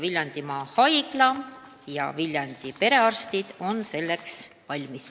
Viljandimaa Haigla ja Viljandi perearstid on selleks valmis.